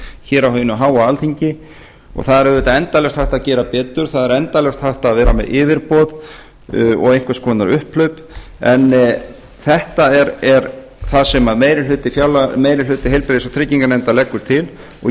hér á hinu háa alþingi og það er auðvitað endalaust hægt að gera betur það er endalaust hægt að vera með yfirboð og einhvers konar upphlaup en þetta er það sem meiri hluti heilbrigðis og trygginganefndar leggur til og ég